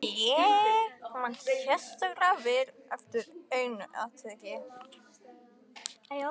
Ég man sérstaklega eftir einu atviki.